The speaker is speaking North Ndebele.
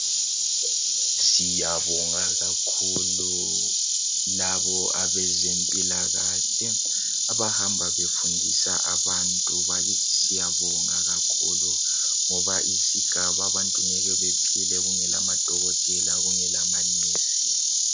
Siyabonga kakhulu labo abezempilakahle abahamba befundisa abantu, bakithi siyabonga kakhulu ngoba isigaba abantu ngeke bephile kungela madokotela kungela manesi.